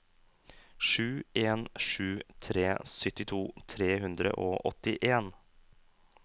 sju en sju tre syttito tre hundre og åttien